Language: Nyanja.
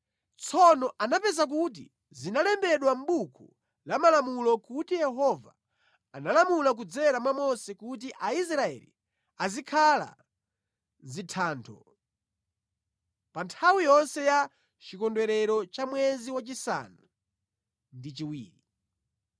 Tsono anapeza kuti zinalembedwa mʼbuku la malamulo kuti Yehova analamula kudzera mwa Mose kuti Aisraeli azikhala mʼzithando pa nthawi yonse ya chikondwerero cha mwezi wachisanu ndi chiwiri.